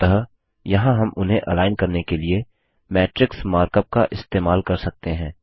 अतः यहाँ हम उन्हें अलाइन करने के लिए मैट्रिक्स मार्कअप का इस्तेमाल कर सकते हैं